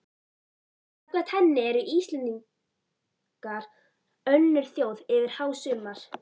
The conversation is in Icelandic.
Samkvæmt henni eru Íslendingar önnur þjóð yfir hásumar